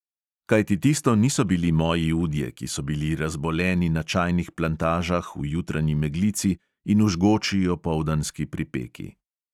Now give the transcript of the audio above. Kajti tisto niso bili moji udje, ki so bili razboleni na čajnih plantažah v jutranji meglici in v žgoči opoldanski pripeki.